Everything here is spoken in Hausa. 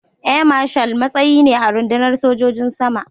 Air Marshal matsayi ne a rundunar sojojin sama.